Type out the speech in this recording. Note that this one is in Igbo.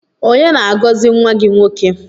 Onye na-agọzi nwa gị nwoke?